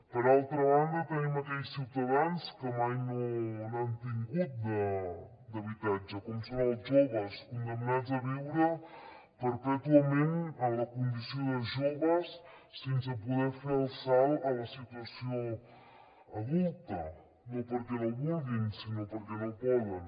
per altra banda tenim aquells ciutadans que mai no n’han tingut d’habitatge com són els joves condemnats a viure perpètuament en la condició de joves sense poder fer el salt a la situació adulta no perquè no vulguin sinó perquè no poden